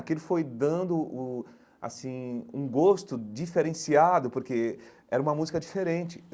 Aquilo foi dando uh assim um gosto diferenciado, porque era uma música diferente.